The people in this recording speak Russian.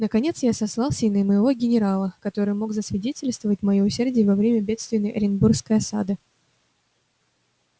наконец я сослался и на моего генерала который мог засвидетельствовать моё усердие во время бедственной оренбургской осады